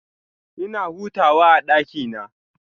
Ina hutawa a ɗakina.